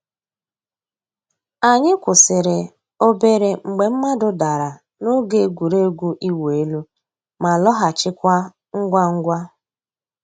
Ànyị̀ kwụsìrì òbèrè mgbè mmàdụ̀ dàrā n'ògè ègwè́régwụ̀ ị̀wụ̀ èlù, má lọ̀ghachikwa ngwá ngwá.